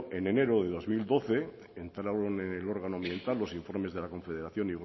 en enero de dos mil doce entraron en el órgano ambiental los informes de la confederación